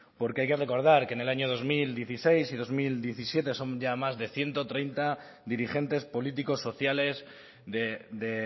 porque hay que recordar que en el año dos mil dieciséis y dos mil diecisiete son más ya de ciento treinta dirigentes políticos sociales de